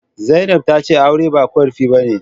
Zainab tace aure ba qarfi bane